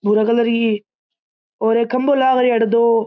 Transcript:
भूरा कलर की और एक खम्बो लाग रिया अठे दो।